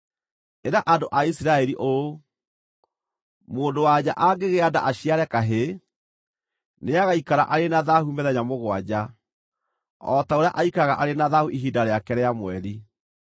“Ĩra andũ a Isiraeli ũũ: ‘Mũndũ-wa-nja angĩgĩa nda aciare kahĩĩ, nĩagaikara arĩ na thaahu mĩthenya mũgwanja o ta ũrĩa aikaraga arĩ na thaahu ihinda rĩake rĩa mweri.